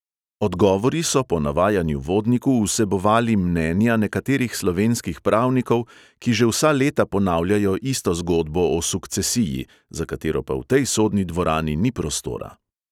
Odgovori so po navajanju vodniku vsebovali mnenja nekaterih slovenskih pravnikov, ki že vsa leta ponavljajo isto zgodbo o sukcesiji, za katero pa v tej sodni dvorani ni prostora.